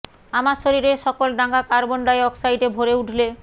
আমার শরীরের সকল ডাঙা কার্বন ডাই অক্সাইডে ভরে উঠলে